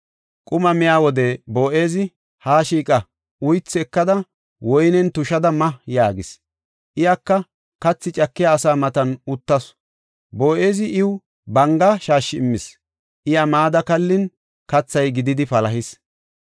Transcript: Quma miya wode Boo7ezi, “Haa shiiqa; uythu ekada woyniyan tushada ma” yaagis. Iyaka katha cakiya asa matan uttasu. Boo7ezi iw banga shaashshi immis; iya mada kallin kathay gididi palahis.